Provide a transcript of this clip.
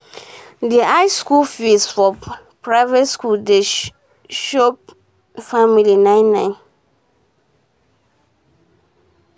d high school um fees for private school dey show show family um nine nine